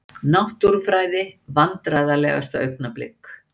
Náttúrufræði Vandræðalegasta augnablik?